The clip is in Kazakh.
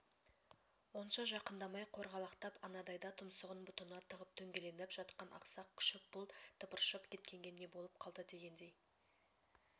онша жақындамай қорғалақтап анадайда тұмсығын бұтына тығып дөңгеленіп жатқан ақсақ күшік бұл тыпыршып кеткенге не болып қалды дегендей